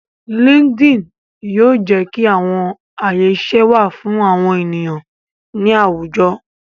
Linkedin yoo jẹ ki awọn aye iṣẹ wa fun awọn eniyan ni awujọ